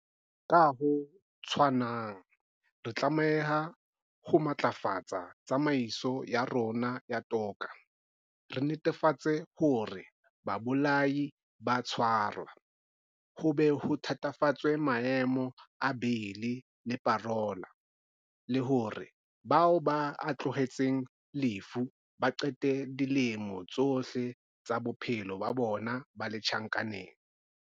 Ka ho tshwanang, re tlameha ho matlafatsa tsamaiso ya rona ya toka, re netefatse hore babolai ba a tshwarwa, ho be ho thatafatswe maemo a beili le parola, le hore bao ba ahloletsweng lefu ba qete dilemo tsohle tsa bophelo ba bona ba le tjhankaneng.